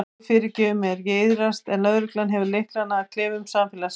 Guð fyrirgefur mér, ég iðrast en löggan hefur lyklana að klefum samfélagsins.